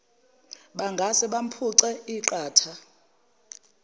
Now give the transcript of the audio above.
bangase bamphuce iqatha